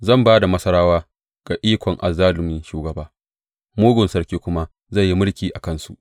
Zan ba da Masarawa ga ikon azzalumi shugaba, mugun sarki kuma zai yi mulki a kansu,